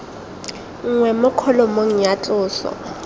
nngwe mo kholomong ya tloso